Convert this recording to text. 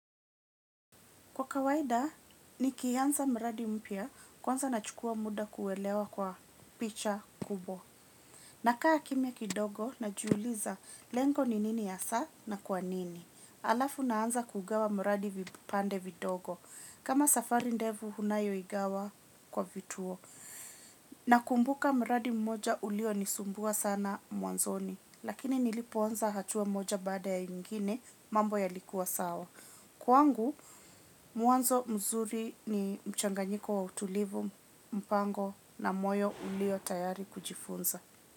Kwa kawaida nikianza mradi mpya kwanza nachukua muda kuwelewa kwa picha kubo. Nakaa kimya kidogo najiuliza lengo ni nini hasa na kwa nini. Alafu naanza kugawa mradi vipande vidogo. Kama safari ndevu unayoigawa kwa vituo. Nakumbuka mradi mmoja ulionisumbua sana mwanzoni. Lakini nilipoanza hatua moja bada ya ingine mambo ya likua sawa. Kwangu, mwanzo mzuri ni mchanganyiko wa utulivu mpango na moyo ulio tayari kujifunza.